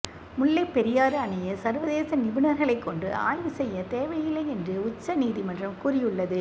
முல்லை பெரியாறு அணையை சர்வதேச நிபுணர்களை கொண்டு ஆய்வு செய்ய தேவையில்லை என்று உச்சநீதிமன்றம் கூறியுள்ளது